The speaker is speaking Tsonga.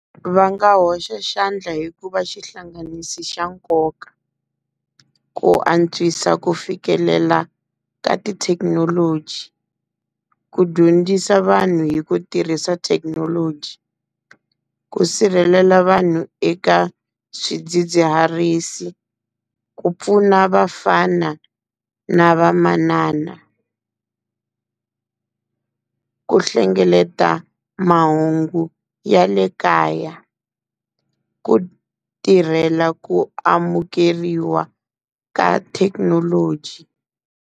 Va nga hoxa xandla hi ku va xihlanganisi xa nkoka. Ku antswisa ku fikelela ka tithekinoloji, ku dyondzisa vanhu hi ku tirhisa thekinoloji, ku sirhelela vanhu eka swidzidziharisi, ku pfuna vafana na vamanana ku hlengeleta mahungu ya le kaya, ku tirhela ku amukeriwa ka thekinoloji.